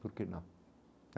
Por que não?